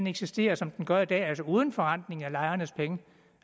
eksisterer som den gør i dag altså uden forrentning af lejernes penge